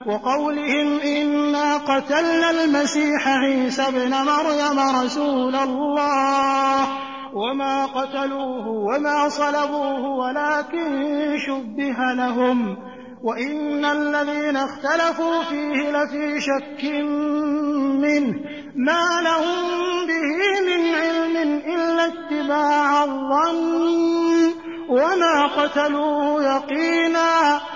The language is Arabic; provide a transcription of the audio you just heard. وَقَوْلِهِمْ إِنَّا قَتَلْنَا الْمَسِيحَ عِيسَى ابْنَ مَرْيَمَ رَسُولَ اللَّهِ وَمَا قَتَلُوهُ وَمَا صَلَبُوهُ وَلَٰكِن شُبِّهَ لَهُمْ ۚ وَإِنَّ الَّذِينَ اخْتَلَفُوا فِيهِ لَفِي شَكٍّ مِّنْهُ ۚ مَا لَهُم بِهِ مِنْ عِلْمٍ إِلَّا اتِّبَاعَ الظَّنِّ ۚ وَمَا قَتَلُوهُ يَقِينًا